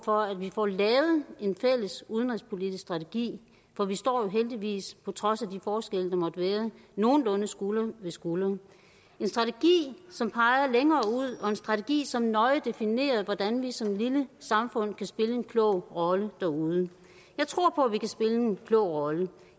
for at vi får lavet en fælles udenrigspolitisk strategi for vi står jo heldigvis på trods af de forskelle der måtte være nogenlunde skulder ved skulder en strategi som peger længere ud og en strategi som nøje definerer hvordan vi som lille samfund kan spille en klog rolle derude jeg tror på vi kan spille en klog rolle